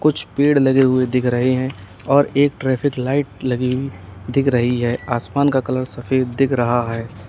कुछ पेड़ लगे हुए दिख रहे हैं और एक ट्रैफिक लाइट लगी दिख रही है आसमान का कलर सफेद दिख रहा है।